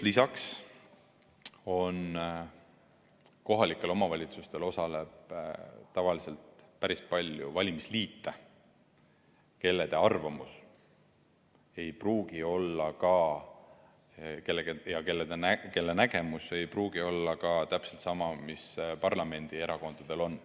Lisaks, kohalikel omavalitsustel osaleb tavaliselt päris palju valimisliite, kelle arvamus ja nägemus ei pruugi olla ka täpselt sama, mis on parlamendierakondadel.